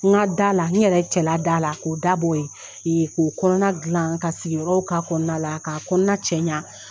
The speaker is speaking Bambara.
N ka da la, n yɛrɛ cɛla da la, k'o dabo yen, k'o kɔnɔna gilan ka sigiyɔrɔ ka kɔnɔna la ka kɔnɔna cɛɲa.